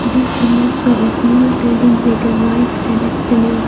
this image show a small building with a white near.